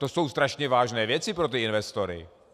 To jsou strašně vážné věci pro ty investory.